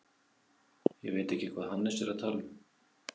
Ég veit ekki hvað Hannes er að tala um.